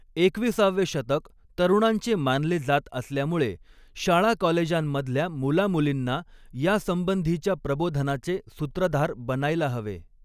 एकवीसावे शतक तरुणांचे मानले जात असल्यामुळे शाळाकॉलेजांमध्ल्या मुलामुलींना यासंबंधीच्या प्रबोधनाचे सूत्रधार बनायला हवे.